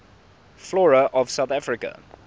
flora of south africa